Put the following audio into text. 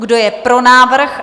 Kdo je pro návrh?